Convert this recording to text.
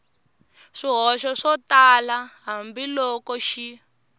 swihoxo swo tala hambiloko xi